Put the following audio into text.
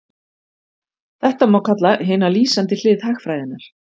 þetta má kalla hina lýsandi hlið hagfræðinnar